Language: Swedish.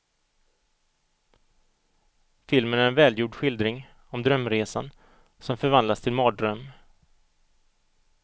Filmen är en välgjord skildring om drömresan som förvandlas till mardröm.